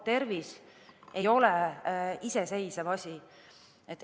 Tervis ei ole iseseisev asi.